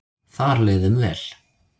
Þar leið þeim vel.